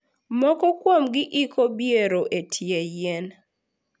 Moko kuomgi iko biero e tie yien.